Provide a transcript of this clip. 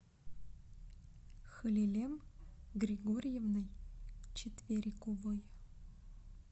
халилем григорьевной четвериковой